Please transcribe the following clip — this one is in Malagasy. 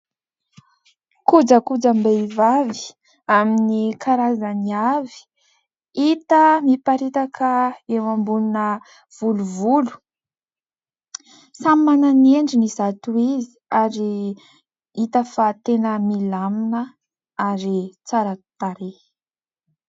Kojakojam-behivavy amin'ny karazany avy. Hita miparitaka eo ambonina volovolo. Samy manana ny endriny izato izy ary hita fa tena milamina ary tsara tarehy.